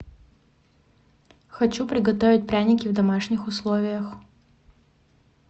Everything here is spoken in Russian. хочу приготовить пряники в домашних условиях